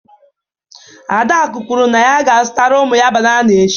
Adaku kwuru na ya ga-azụtara ụmụ ya banana echi.